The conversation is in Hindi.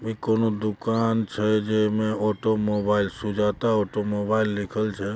ई कोनो दुकान छै जै में automobile Sujata automobile लिखल छे।